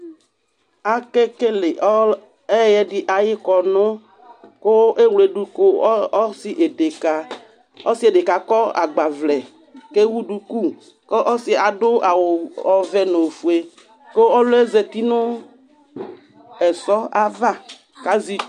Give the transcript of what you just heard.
Akekele ɔl ɛyɛdɩ ayʋ kɔnʋ kʋ ewledu ka ɔsɩ edekǝ Ɔsɩ edekǝ akɔ agbavlɛ kʋ ewu duku kʋ ɔsɩ adʋ awʋ ɔw ɔvɛ nʋ ofue kʋ ɔlʋ yɛ zati nʋ ɛsɔ ava kʋ azɛ itsu